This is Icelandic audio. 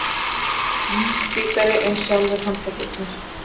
Mun hvítari en sjálfir handleggirnir.